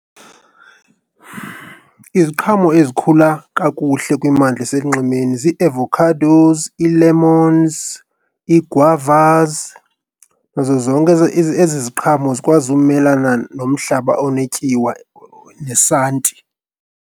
Iziqhamo ezikhula kakuhle kwimimmandla eselunxwemeni zii-avocadoes, ii-lemons, ii-guavas nazo zonke ezi ziqhamo zikwazi umelana nomhlaba onetyiwa nesanti.